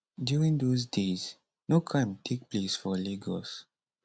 during dose days no crime take place for lagos